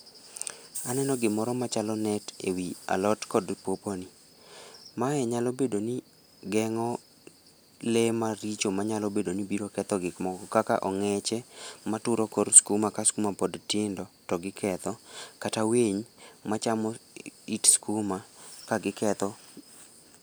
Aneno gimoro machalo net ewi alot kod pawpaw ni. Mae nyalo bedo ni gengo lee maricho manyalo bedo ni biro ketho gik moko kaka ongeche maturo kor skuma ka skuma pod tindo togiketho kata winy machamo it skuma kagiketho